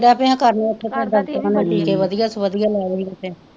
ਆਉਂਦੇ ਡਿਹ ਪਏ ਹੈ ਕਰਨ ਓਥੇ ਟੀਕੇ ਵਧੀਆ ਤੋਂ ਵਧੀਆ ਲੈ ਲੈਂਦੇ ਓਥੇ,